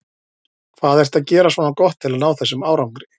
Hvað ertu að gera svona gott til að ná þessum árangri?